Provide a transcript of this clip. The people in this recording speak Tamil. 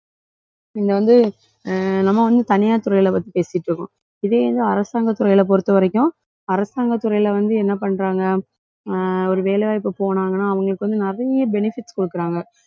இங்க வந்து அஹ் நம்ம வந்து தனியார் துறையில பத்தி பேசிட்டு இருக்கோம். இதே வந்து அரசாங்கத் துறையில பொறுத்தவரைக்கும் அரசாங்கத் துறையில வந்து என்ன பண்றாங்க? ஆஹ் ஒரு வேலை வாய்ப்பு போனாங்கன்னா அவங்களுக்கு வந்து நிறைய benefits குடுக்கறாங்க